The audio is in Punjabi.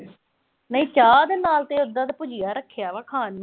ਨਹੀਂ ਚਾਹ ਦੇ ਨਾਲ ਉਦਾਂ ਤਾਂ ਭੁਜੀਆ ਰੱਖਿਆ ਵਿਆ ਖਾਣ ਨੂੰ।